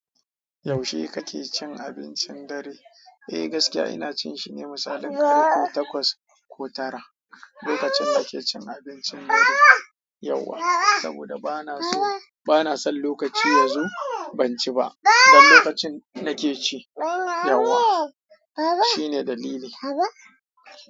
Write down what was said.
Yaushe kake cin abincin dare? Eh gaskiya ina cin shi ne misalin karo takwas ko tara, lokacin nake cin abincin dare yawwa, saboda bana so, bana son lokaci ya zo ban ci ba, don lokacin nake ci yawwa shine dalili.